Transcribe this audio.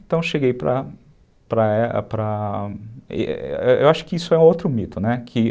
Então, eu cheguei para... Eu acho que isso é outro mito, né, que